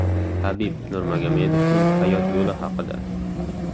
Habib Nurmagomedovning hayot yo‘li haqida.